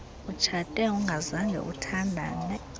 utshate ungazange uthandane